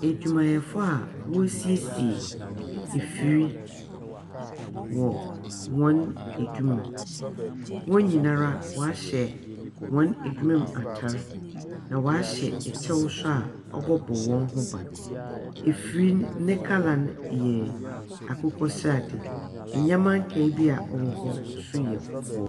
Adwumayɛfo Wɔresiesie efiri wɔ wɔn adwuma mu. Wɔnyina ara waahyɛ wɔn adwuma mu ataare. Na waahyɛ ɛkyɛw so a ɔbɛbo wɔn ho ban. Efiri ne kala yɛ akokɔ srade. Ɛnyɛma nkayɛ bi ɔwɔ hɔ so yɛ kɔkɔɔ.